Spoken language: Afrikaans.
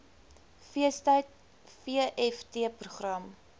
feestyd vft program